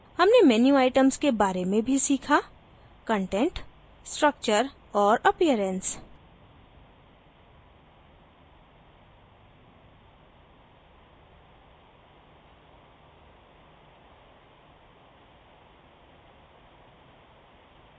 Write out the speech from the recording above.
हमने menu items के बारे में भी सीखा